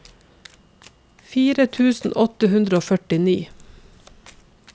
fire tusen åtte hundre og førtini